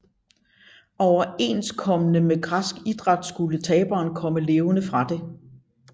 Overensstemmende med græsk idræt skulle taberen komme levende fra det